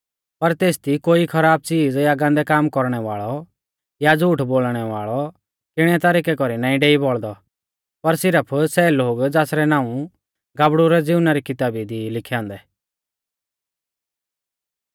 पर तेसदी कोई खराब च़ीज़ या गान्दै काम कौरणै वाल़ौ या झ़ूठ बोलणै वाल़ौ किणै तरिकै कौरी नाईं डेई बौल़दौ पर सिरफ सै लोग ज़ासरै नाऊं गाबड़ु रै जीवना री किताबी दी ई लिखै औन्दै